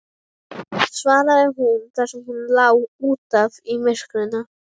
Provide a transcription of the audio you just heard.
svaraði hún þar sem hún lá út af í myrkrinu.